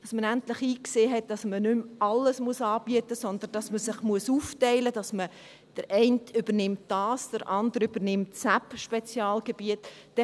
Man hat endlich eingesehen, dass man nicht mehr alles anbieten muss, sondern sich aufteilen muss, der eine dieses Spezialgebiet übernimmt und der andere jenes.